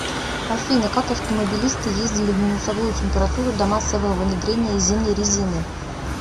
афина как автомобилисты ездили в минусовую температуру до массового внедрения зимней резины